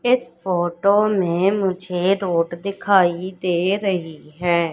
इस फोटो में मुझे रोड दिखाई दे रही है।